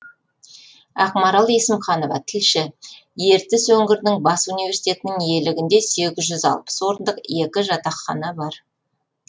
ақмарал есімханова тілші ертіс өңірінің бас университетінің иелігінде сегіз жүз алпыс орындық екі жатақхана бар